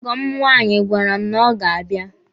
Ọgọ m nwaanyi gwara m na ọ ga-abịa.